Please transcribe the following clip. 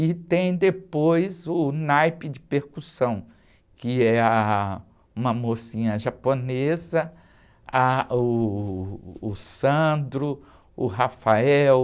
E tem depois o naipe de percussão, que é ah, uma mocinha japonesa, ah, uh, o, o,